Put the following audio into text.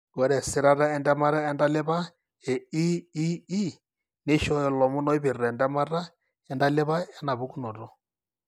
Ore esirata entemata entalipa EEE neishooyo ilomon oipirta entemata entalipa enapukunoto.